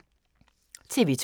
TV 2